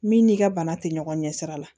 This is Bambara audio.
Min n'i ka bana tɛ ɲɔgɔn ɲɛ sira la